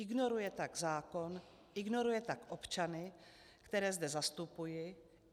Ignoruje tak zákon, ignoruje tak občany, které zde zastupuji.